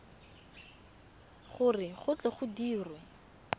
gore go tle go dirwe